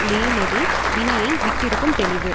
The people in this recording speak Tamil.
மேலதே வினையை விட்டிருக்கும் தெளிவு